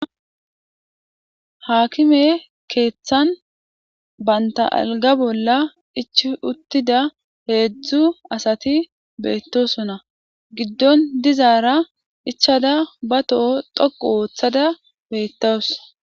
Haakime keeththan banta alga bolla ichi uttida heedzdzu asati beettosona giddon dizaara ichada ba toho toqu ooththada beettowus.